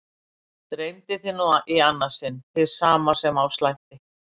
Dreymdi þig nú í annað sinn hið sama sem á slætti?